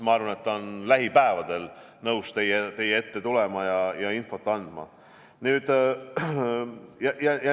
Ma arvan, et ta on lähipäevadel nõus teie ette tulema ja infot andma.